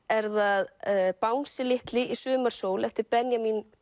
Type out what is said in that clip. er það bangsi litli í sumarsól eftir Benjamin